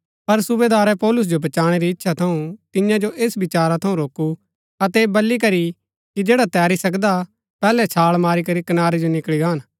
पर सूबेदारै पौलुस जो बचाणै री इच्छा थऊँ तियां जो ऐस विचारा थऊँ रोकू अतै ऐह बली करी कि जैडा तैरी सकदा पैहलै छाळ मारी करी कनारै जो निकळी गान